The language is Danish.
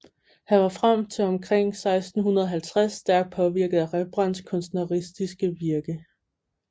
Han var frem til omkring 1650 stærkt påvirket af Rembrandts kunstneriske virke